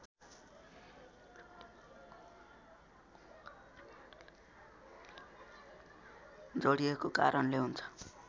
जोडिएको कारणले हुन्छ